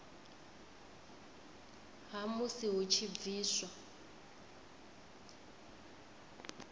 ha musi hu tshi bviswa